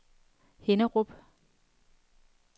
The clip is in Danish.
Hinnerup